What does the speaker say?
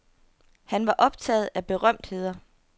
Han var optaget af berømtheder.